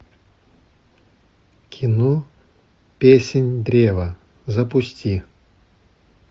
кино песнь древа запусти